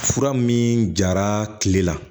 Fura min jara tile la